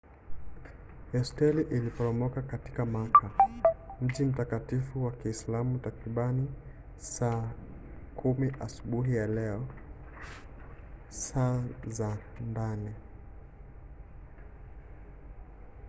hosteli iliporomoka katika makka mji mtakatifu wa kiislamu takriban saa 4 asubuhi ya leo saa za ndani